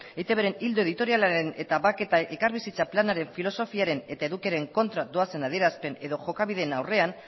eitbren ildo editorialaren eta bake eta elkarbizitza planaren filosofiaren eta edukiaren kontra doazen adierazpen edo jokabideen aurrean